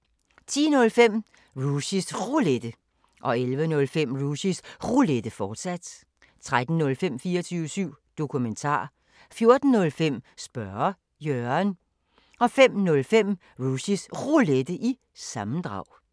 10:05: Rushys Roulette 11:05: Rushys Roulette, fortsat 13:05: 24syv Dokumentar 14:05: Spørge Jørgen 05:05: Rushys Roulette – sammendrag